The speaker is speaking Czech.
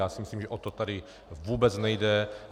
Já si myslím, že o to tady vůbec nejde.